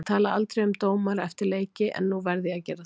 Ég tala aldrei um dómara eftir leiki, en nú verð ég að gera það.